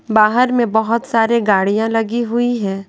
बाहर में बहुत सारे गाड़िया लगी हुई है।